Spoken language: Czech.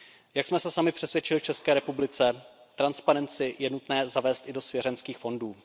Jak jsme se sami přesvědčili v České republice, transparenci je nutné zavést i do svěřenských fondů.